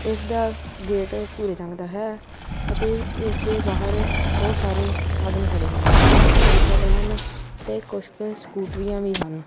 ਇਸ ਦਾ ਗੇਟ ਭੂਰੇ ਰੰਗ ਦਾ ਹੈ ਅਤੇ ਇਸ ਦੇ ਬਾਹਰ ਬਹੁਤ ਸਾਰੇ ਸਾਧਨ ਖੜੇ ਹਨ ਕੁਝ ਕੁ ਮੋਟਰਸਾਈਕਲਾਂ ਹਨ ਤੇ ਕੁਝ ਕ ਸਕੂਟਰੀਆਂ ਵੀ ਹਨ।